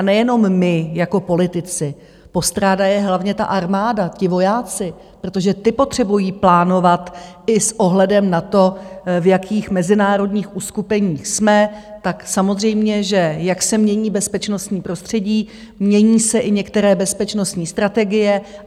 A nejenom my jako politici, postrádá je hlavně ta armáda, ti vojáci, protože ti potřebují plánovat i s ohledem na to, v jakých mezinárodních uskupeních jsme, tak samozřejmě, že jak se mění bezpečnostní prostředí, mění se i některé bezpečnostní strategie.